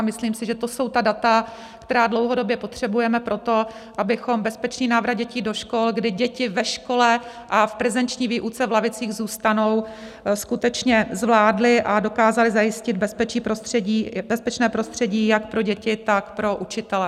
A myslím si, že to jsou ta data, která dlouhodobě potřebujeme pro to, abychom bezpečný návrat dětí do škol, kdy děti ve škole a v prezenční výuce v lavicích zůstanou, skutečně zvládli a dokázali zajistit bezpečné prostředí jak pro děti, tak pro učitele.